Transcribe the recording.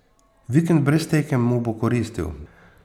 Vikend brez tekem mu bo koristil.